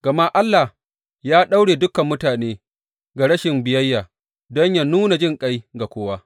Gama Allah ya daure dukan mutane ga rashin biyayya don yă nuna jinƙai ga kowa.